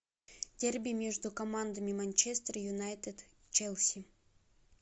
дерби между командами манчестер юнайтед челси